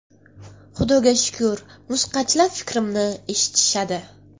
Xudoga shukur musiqachilar fikrimni eshitishadi.